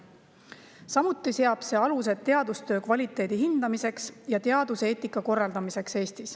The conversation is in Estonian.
Samuti seab see Eestis teadustöö kvaliteedi hindamise ja teaduseetika korraldamise alused.